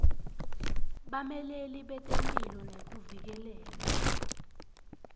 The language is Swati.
bameleli betemphilo nekuvikeleka